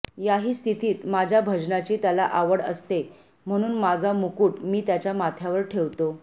याही स्थितीत माझ्या भजनाची त्याला आवड असते म्हणून माझा मुकुट मी त्याच्या माथ्यावर ठेवतो